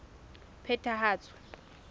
phethahatso